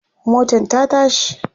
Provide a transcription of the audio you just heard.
motan ta tashi